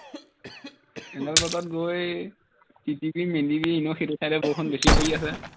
এনে বতৰত গৈ তিতিবি মেলিবি এনেও সেইটো side এ বৰষুণ বেছি পৰি আছে